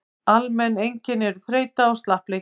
almenn einkenni eru þreyta og slappleiki